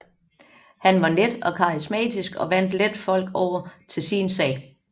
Han var net og karismatisk og vandt let folk over til sin sag